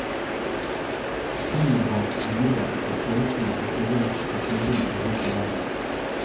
Flyene var glidere og seilfly rekvirert fra klubbene rundt i landet.